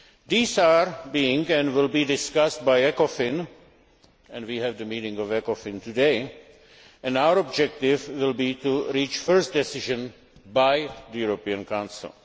These are being, and will be, discussed by Ecofin and we have the Ecofin meeting today and our objective will be to reach first decisions by the European Council.